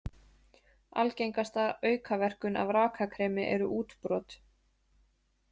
Algengasta aukaverkun af rakakremi eru útbrot.